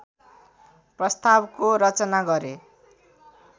प्रस्तावको रचना गरे